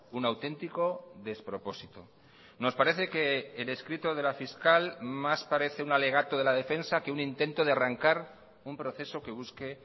un auténtico despropósito nos parece que el escrito de la fiscal más parece un alegato de la defensa que un intento de arrancar un proceso que busque